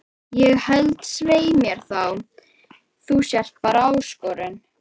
Ég held svei mér þá að þú sért bara ÁSKORUN